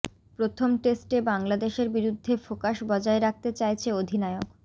প্রথম টেস্টে বাংলাদেশের বিরুদ্ধে ফোকাস বজায় রাখতে চাইছে অধিনায়ক